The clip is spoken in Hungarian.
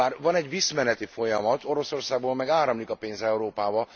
Bár van egy visszmeneti folyamat, Oroszországból meg áramlik a pénz Európába.